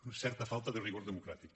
una certa falta de rigor democràtic